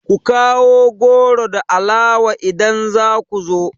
Ku kawo goro da alawa idan za ku zo!